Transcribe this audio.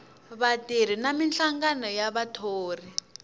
vatirhi na minhlangano ya vathori